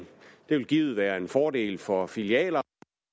det vil givet være en fordel for filialer